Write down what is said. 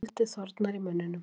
Og skáldið þornar í munninum.